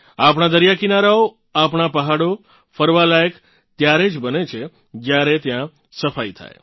આપણાં દરિયાકિનારાઓ આપણાં પહાડો ફરવાલાયક ત્યારે જ બને છે જ્યારે ત્યાં સફાઇ થાય